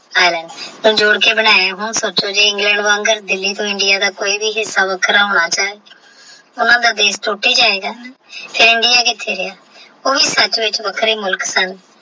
India ਵਾਂਗਣ ਕੋਈ ਵੀ ਹਿਸਾ ਵੱਖਰਾ ਹੋਣਾ ਚਾਹੇ ਉਹਨਾਂ ਦਾ ਬੇਸ ਟੋਟ ਹੀ ਜਾਏਗਾ ਫੇਰ ਇੰਡੀਆ ਕਿੱਥੇ ਗਿਆ ਉਹ ਵੀ ਸਬ ਵਿੱਚ ਵੱਖਰਾ ਹੀ ਮੁਲਖ ਸਨ।